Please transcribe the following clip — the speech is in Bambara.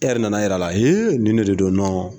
E yɛrɛ nana yir'a la hee nin de don nɔn